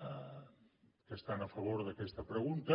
que estan a favor d’aquesta pregunta